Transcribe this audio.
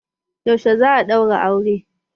Yaushe za a ɗaura auren